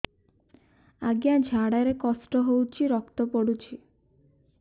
ଅଜ୍ଞା ଝାଡା ରେ କଷ୍ଟ ହଉଚି ରକ୍ତ ପଡୁଛି